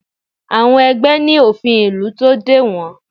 Àwọn ẹgbẹ́ ní òfin ìlú tó dè wọ́n